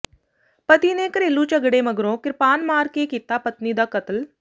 ਪਤੀ ਨੇ ਘਰੇਲੂ ਝਗੜੇ ਮਗਰੋਂ ਕ੍ਰਿਪਾਨ ਮਾਰ ਕੇ ਕੀਤਾ ਪਤਨੀ ਦਾ ਕਤਲ